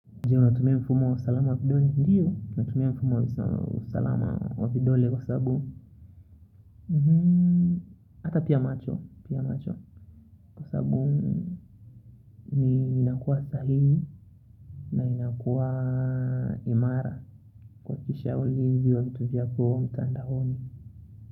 Ndiyo natumia mfumo wa salama wa vidole kwa sababu hata pia macho. Kwa sababu ni inakuwa sahihi. Na inakuwa imara. Kuhakikisha ulinzi wa vitu vyako mtandaoni.